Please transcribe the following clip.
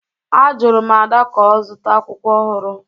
Ajụrụ m Ada ka ọ zụta akwụkwọ ọhụrụ